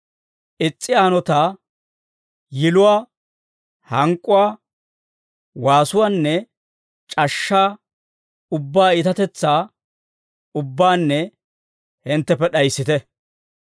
Is's'iyaa hanotaa, yiluwaa, hank'k'uwaa, waasuwaanne c'ashshaa ubbaa iitatetsaa ubbaanna hintteppe d'ayissite.